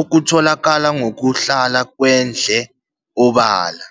okutholakala ngokuhlala kwendle obala.